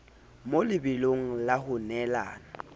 mo lebelong la ho neelana